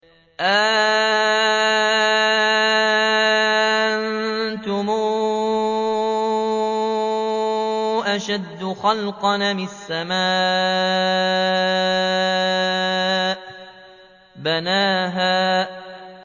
أَأَنتُمْ أَشَدُّ خَلْقًا أَمِ السَّمَاءُ ۚ بَنَاهَا